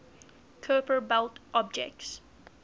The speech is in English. kuiper belt objects